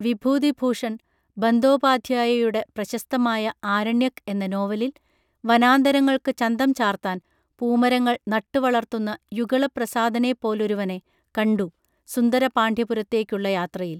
വിഭൂതിഭൂഷൺ ബന്ദോപാദ്ധ്യായയുടെ പ്രശസ്തമായ ആരണ്യക് എന്ന നോവലിൽ വനാന്തരങ്ങൾക്ക് ചന്തം ചാർത്താൻ പൂമരങ്ങൾ നട്ടുവളർത്തുന്ന യുഗളപ്രസാദനെപ്പോലൊരുവനെ കണ്ടു സുന്ദരപാണ്ഡ്യപുരത്തേയ്ക്കുള്ള യാത്രയിൽ